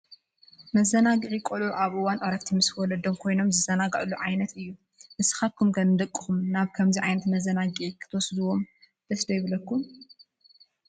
መዘናግዒ ቆልዑ ኣብ እዋን ዕረፍቲ ምስ ወለዶም ኮይኖም ዝዘናግዕሉን ዓይነት እዩ። ንስኻትኩም ንደቅኹም ናብ ከምዚ ዓይነት መዘናግዒ ክትወስድዎም ደስ ይብለኩም ዶ?